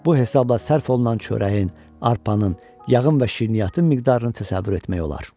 Bu hesabla sərf olunan çörəyin, arpanın, yağın və şirniyyatın miqdarını təsəvvür etmək olar.